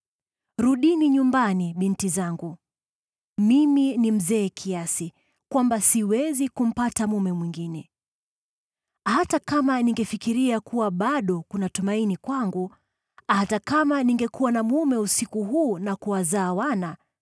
Rudini nyumbani, binti zangu; mimi ni mzee kiasi kwamba siwezi kumpata mume mwingine. Hata kama ningefikiria kuwa bado kuna tumaini kwangu, hata kama ningekuwa na mume usiku huu na kuwazaa wana,